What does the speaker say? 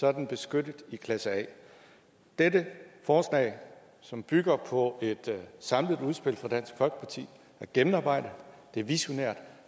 er den beskyttet i klasse a dette forslag som bygger på et samlet udspil fra dansk folkeparti er gennemarbejdet det er visionært